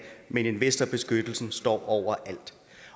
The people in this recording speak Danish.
men investorbeskyttelsen står over alt